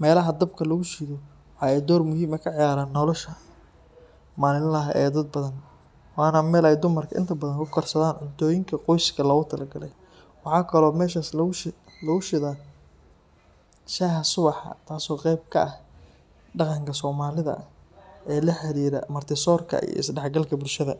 meelaha dabka lagu shido waxa ay door muhiim ah ka ciyaaraan nolosha maalinlaha ah ee dad badan, waana meel ay dumarka inta badan ku karsadaan cuntooyinka qoyska loogu talagalay. Waxaa kaloo meeshaas lagu shido shaaha subaxa, taas oo qeyb ka ah dhaqanka soomaalida ee la xiriira marti soorka iyo isdhexgalka bulshada.